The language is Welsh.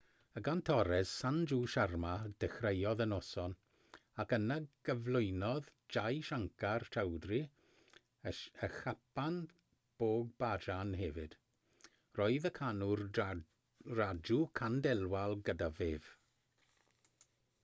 y gantores sanju sharma ddechreuodd y noson ac yna gyflwynodd jai shankar choudhary y chhappan bhog bhajan hefyd roedd y canwr raju khandelwal gydag ef